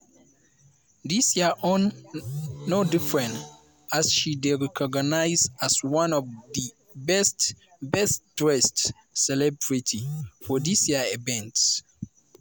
dis year own no different as she dey recognised as one of di best best dressed celebrity for dis year event.